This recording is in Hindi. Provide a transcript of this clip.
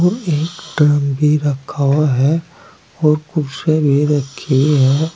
और एक टंकी रखा हुआ है और कुर्सियाँ भी रखी हुई हैं।